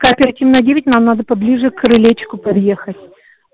кооперативная девять нам надо поближе к крылечку подъехать